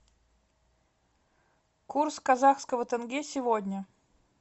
курс казахского тенге сегодня